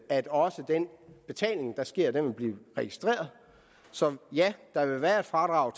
at også den betaling der sker vil blive registreret så ja der vil være et fradrag